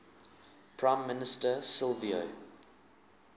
prime minister silvio